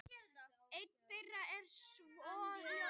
Ein þeirra er svohljóðandi: